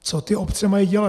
Co ty obce mají dělat?